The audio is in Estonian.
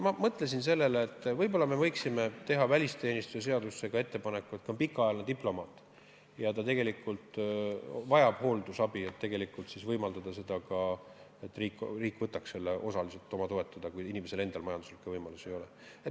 Ma mõtlesin, et võib-olla me võiksime teha välisteenistuse seaduse muutmiseks ettepaneku: kui pikaajaline diplomaat vajab hooldusabi, siis võimaldada seda, et riik võtaks selle osaliselt oma kanda, kui inimesel endal majanduslikke võimalusi ei ole.